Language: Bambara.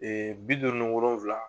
bi duuru ni wolonfila.